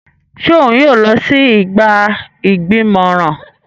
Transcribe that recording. Ṣe òun yóò lọ si igba igbimọran?